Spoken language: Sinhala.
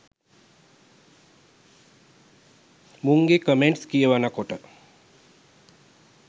මුංගෙ කමෙන්ට්ස් කියවනකොට